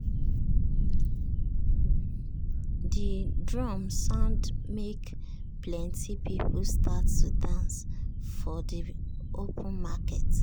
de drum sound make plenti people start to dance for de open market.